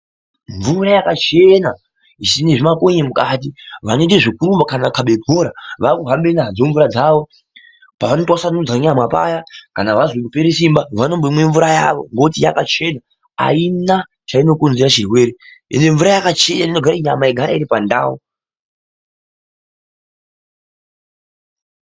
Mvura yakachena isina zvimakonye mukati, vanoite zvekurumba kana kukhaba bhora vakuhambe nadzo mvura dzavo pavano, twasanudza nyama dzawo paya kana vazwa kupera simba vanombomwa mvura yavo ngokuti yakachena. Aina chainokonzera chirwere uyezve mvura yakachena inoita kuti nyama igare iri pandau.